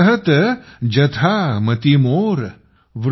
कहत जथा मति मोर ।